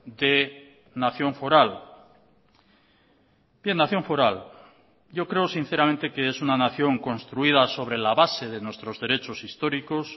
de nación foral bien nación foral yo creo sinceramente que es una nación construida sobre la base de nuestros derechos históricos